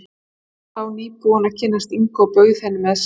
Hann var þá nýbúinn að kynnast Ingu og bauð henni með sér.